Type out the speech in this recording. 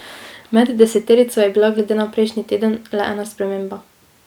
Med deseterico je bila glede na prejšnji teden le ena sprememba.